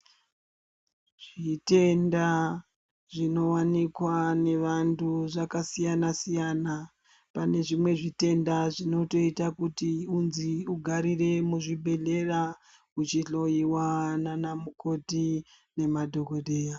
Zvitenda zvinowanikwa nevandu zvakasiyana siyana pane zvimwe zvitenda zvinotoita kuti unzi ugarire muzvibhedhlera uchihloyiwa nanamukoti nemadhokodheya.